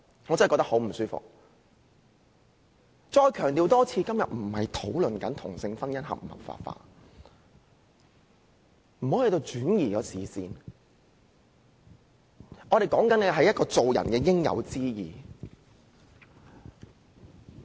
我再一次強調，今天不是討論同性婚姻應否合法化，不要轉移視線，我們所說的是做人應有之義。